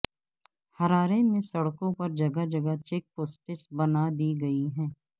Harare میں سڑکوں پر جگہ جگہ چیک پوسٹس بنا دی گئی ہیں